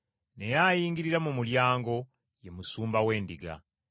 Naye ayingirira mu mulyango, ye musumba w’endiga.